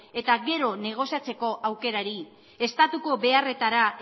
eta gero negoziatzeko aukerari estatuko beharretara